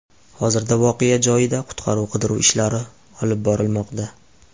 Hozirda voqea joyida qutqaruv-qidiruv ishlari olib borilmoqda.